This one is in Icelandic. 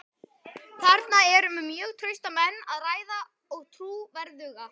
Þarna er um mjög trausta menn að ræða og trúverðuga.